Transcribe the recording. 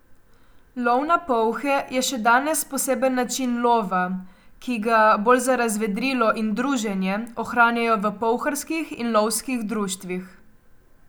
Lov na polhe je še danes poseben način lova, ki ga, bolj za razvedrilo in druženje, ohranjajo v polharskih in lovskih društvih.